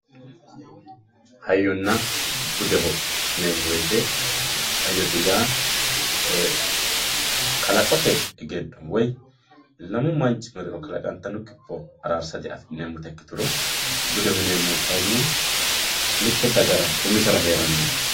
hayyonna budeho yineemmo wote hayyote yaa ee kalaqote egenno woyi lamu manchi mereero kalaqantanno kipho ararsatenni afi'neemmota ikituro budeho yineemmohu kayiinni mitte dagara umisera heerannoho.